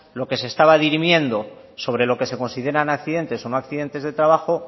lo que se estaba dirimiendo sobre lo que se consideran accidentes o no accidentes de trabajo